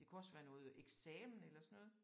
Det kunne også være noget eksamen eller sådan noget